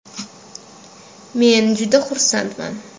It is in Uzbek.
Men juda xursandman.